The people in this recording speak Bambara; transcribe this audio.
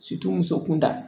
muso kun da